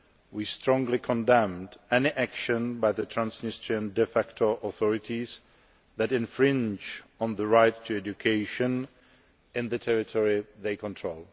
We strongly condemn any action by the Transnistrian de facto authorities that infringe on the right to education in the territory they control.